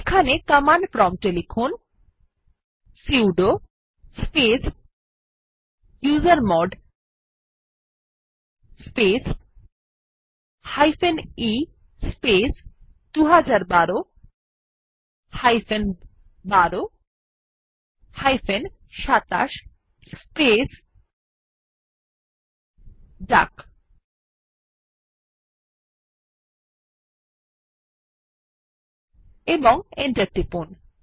এখানে কমান্ড প্রম্পটে লিখুন sudo space usermod space e space ২০১২ ১২ ২৭ space ডাক এবং এন্টার টিপুন